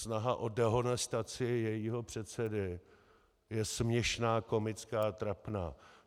Snaha o dehonestaci jejího předsedy je směšná, komická, trapná.